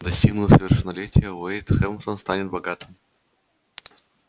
достигнув совершеннолетия уэйд хэмптон станет богатым